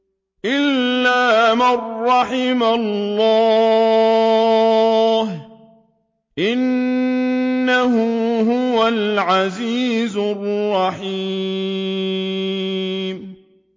إِلَّا مَن رَّحِمَ اللَّهُ ۚ إِنَّهُ هُوَ الْعَزِيزُ الرَّحِيمُ